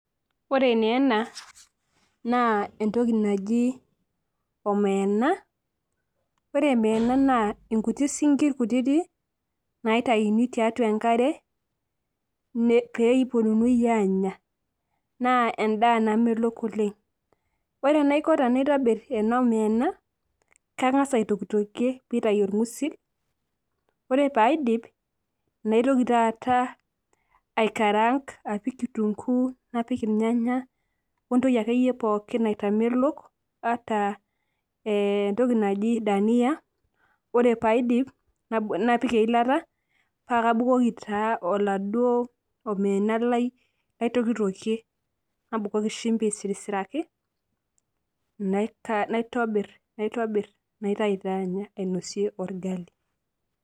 Ore naa ena naa entoki naji omena , ore omena naa inkuti sinkir kutiti naitayuni tiatua enkare peeponuni anya naa endaa namelok oleng . Ore enaiko tenaitor ena omena , kangas aitokitokie pitayu onrgusil , ore paidip naitoki taata aikaranka apik kitunkuu , napik irnyanya , wentoki akeyie pookin naitamelok ata entoki naji dania , ore paidip , napik eilata , pakabukoki taa oladuo omena lai laitokitokie , nabokoki shimbi aitobiraki , naitobir , naitayu taa anya .